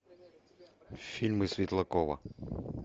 фильмы светлакова